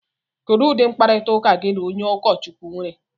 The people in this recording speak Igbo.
Kedu ụdị mkparịta ụka gị na onye ụkọchukwu nwere?